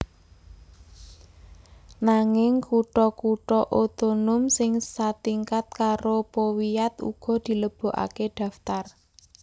Nanging kutha kutha otonom sing satingkat karo powiat uga dilebokaké daftar